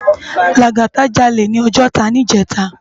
Lagata jàlé ni Òjòtá nijètá